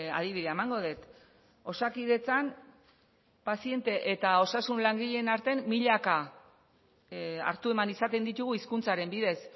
adibidea emango dut osakidetzan paziente eta osasun langileen artean milaka hartu eman izaten ditugu hizkuntzaren bidez